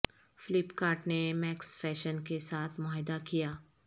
flip cart نے Max Fashion کے ساتھ معاہدہ کیا